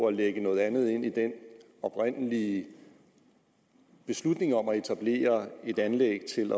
at lægge noget andet ind i den oprindelige beslutning om at etablere et anlæg til